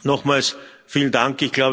Nochmals, vielen Dank!